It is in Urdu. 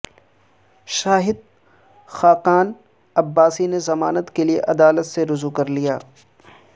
شاہد خاقان عباسی نےضمانت کیلئے عدالت سے رجوع کرلیا